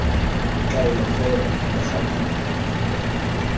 kaelo fela mme ga di